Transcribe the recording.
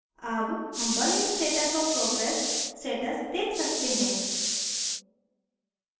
अब हम burning status और progress status देख सकते हैं